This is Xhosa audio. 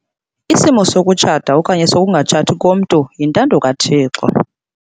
Isimo sokutshata okanye sokungatshati komntu yintando kaThixo.